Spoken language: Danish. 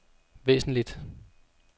væsentligt